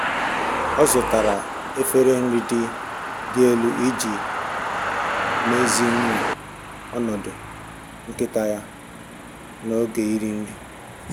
Ọ zụtara efere nri dị elu iji meziwanye ọnọdụ nkịta ya na oge iri nri.